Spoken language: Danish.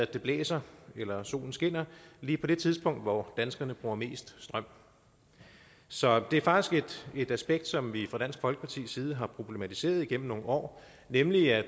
det blæser eller at solen skinner lige på det tidspunkt hvor danskerne bruger mest strøm så det er faktisk et aspekt som vi fra dansk folkepartis side har problematiseret igennem nogle år nemlig at